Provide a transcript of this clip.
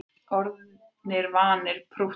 Orðnir vanir prúttinu